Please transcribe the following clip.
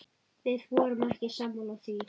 Við vorum ekki sammála því.